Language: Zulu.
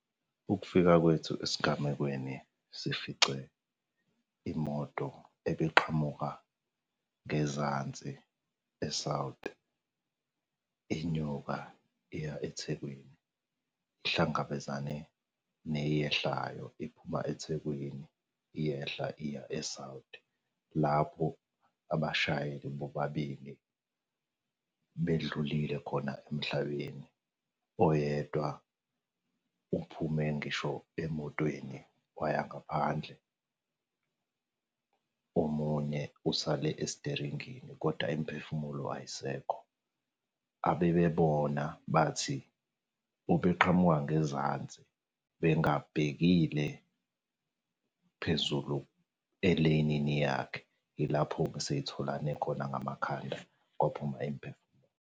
Ukufika kwethu esigamekweni, sifice imoto ebiqhamuka ngezansi e-South, inyuka iya eThekweni. Ihlangabezane neyehlayo iphuma eThekwini, iyehla iya e-South. Lapho abashayeli bobabili bedlulile khona emhlabeni oyedwa uphume ngisho emotweni waya ngaphandle. Omunye usale esiteringini kodwa imiphefumulo ayisekho. Abebebona bathi, obeqhamuka ngezansi, bengabhekile phezulu eleyinini yakhe. Ilapho-ke sey'tholane khona ngamakhanda kwaphuma .